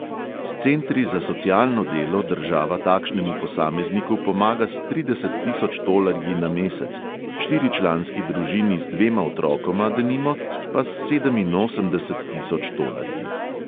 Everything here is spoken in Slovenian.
S centri za socialno delo država takšnemu posamezniku pomaga s trideset tisoč tolarji na mesec, štiričlanski družini z dvema otrokoma, denimo, pa s sedeminosemdeset tisoč tolarji.